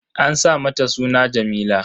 An sa mata suna Jameela